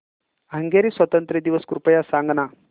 Hungary स्वातंत्र्य दिवस कृपया सांग ना